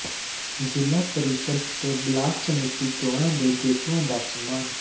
ਜ਼ਿਲ੍ਹਾ ਪ੍ਰੀਸ਼ਦ ਤੇ ਬਲਾਕ ਸਮਿਤੀ ਚੋਣਾਂ ਦੇ ਜੇਤੂਆਂ ਦਾ ਸਨਮਾਨ